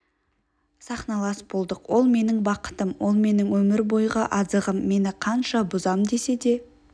сахналас болдық ол менің бақытым ол менің өмір бойғы азығым мені қанша бұзам десе де